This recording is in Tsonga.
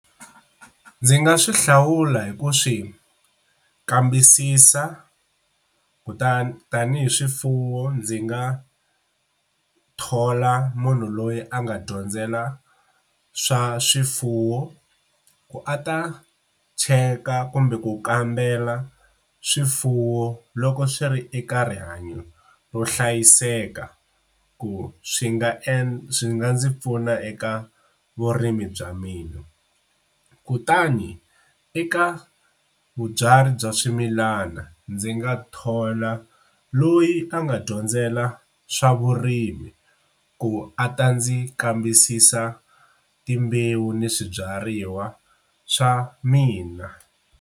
Ndzi nga swi hlawula hi ku swi kambisisa kutani tanihi swifuwo ndzi nga thola munhu loyi a nga dyondzela swa swifuwo ku a ta cheka kumbe ku kambela swifuwo loko swi ri eka rihanyo ro hlayiseka ku swi nga e swi nga ndzi pfuna eka vurimi bya mina, kutani eka vabyari bya swimilana ndzi nga thola loyi a nga dyondzela swa vurimi ku a ta ndzi kambisisa timbewu ni swibyariwa swa mina.